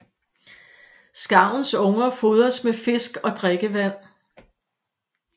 Skarvens unger fodres med fisk og drikkevand